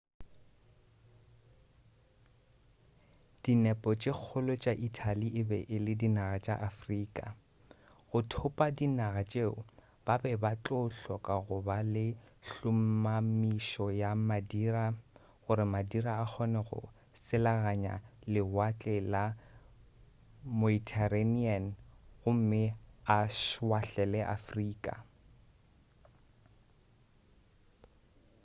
dinepo tše kgolo tša italy e be e le dinaga tša afrika go thopa dinaga tšeo ba be ba tlo hloka go ba le hlomamišo ya madira gore madira a kgone go selaganya lewatle la meuterranean gomme a šwahlele afrika